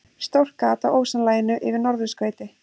Stórt gat á ósonlaginu yfir norðurskauti